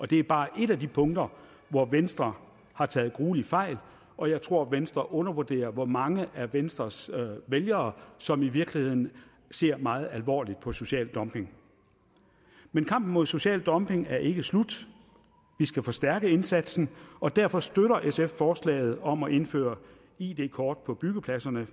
det er bare ét af de punkter hvor venstre har taget grueligt fejl og jeg tror at venstre undervurderer hvor mange af venstres vælgere som i virkeligheden ser meget alvorligt på social dumping men kampen mod social dumping er ikke slut vi skal forstærke indsatsen og derfor støtter sf forslaget om at indføre id kort på byggepladserne